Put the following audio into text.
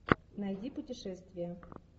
найди путешествия